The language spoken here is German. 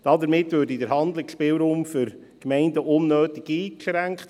Damit würde der Handlungsspielraum für die Gemeinden unnötig eingeschränkt.